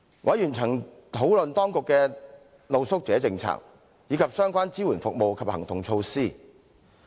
委員曾討論當局的露宿者政策，以及相關支援服務及行動措施。